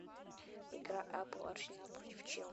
игра апл арсенал против челси